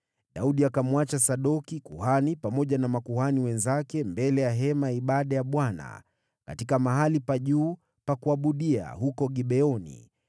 Daudi akamwacha kuhani Sadoki pamoja na makuhani wenzake mbele ya hema ya ibada ya Bwana katika mahali pa juu pa kuabudia huko Gibeoni